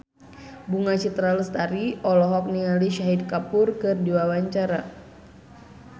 Bunga Citra Lestari olohok ningali Shahid Kapoor keur diwawancara